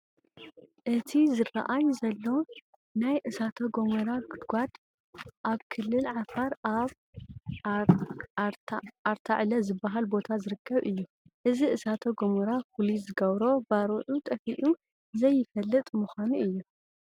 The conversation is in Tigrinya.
እቲ ዝርኣይ ዘሎ ናይ እሳተ ጐመራ ጉድጓድ ኣብ ክልል ዓፋር ኣብ ኣርታዕለ ዝበሃል ቦታ ዝርከብ እዩ፡፡ እዚ እሳተ ገሞራ ፍሉይ ዝገብሮ ባርዑ ጠፊኡ ዘይፈልጥ ምዃኑ እዬ፡፡